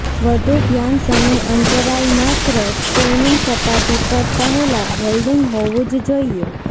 વધુ ધ્યાન સમય અંતરાલ માત્ર સ્ટેનિંગ સપાટી પર પહેલાં હોલ્ડિંગ હોવું જ જોઈએ